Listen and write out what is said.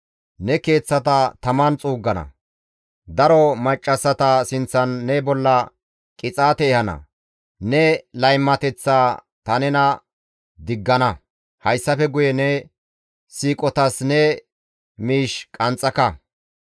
Ne keeththata taman xuuggana; daro maccassata sinththan ne bolla qixaate ehana; ne laymateththaa ta nena diggana; hayssafe guye ne siiqotas ne miish qanxxaka.